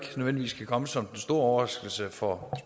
nødvendigvis kan komme som den store overraskelse for